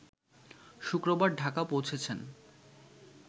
শুক্রবার ঢাকা পৌঁছেছেন